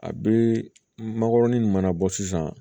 A bɛ makɔrɔni min mana bɔ sisan